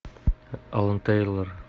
алан тейлор